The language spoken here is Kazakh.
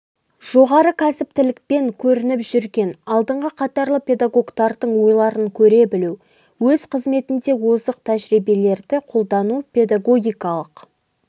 жоғары кәсіптілікпен көрініп жүрген алдыңғы қатарлы педагогтардың ойларын көре білу өз қызметінде озық тәжірибелерді қолдану педагогикалық